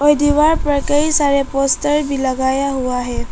ये दीवार पर कई सारे पोस्टर भी लगाया हुआ हैं।